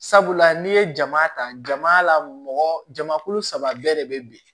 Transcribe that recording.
Sabula n'i ye jama ta jama la mɔgɔ jama kulu saba bɛɛ de bɛ bin